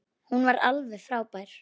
Hún var alveg frábær.